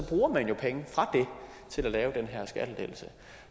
bruger man jo pengene til at lave den her skattelettelse